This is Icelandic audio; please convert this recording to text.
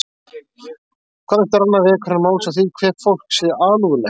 Hvað eftir annað vekur hann máls á því hve fólk sé alúðlegt